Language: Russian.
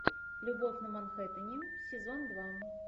любовь на манхэттене сезон два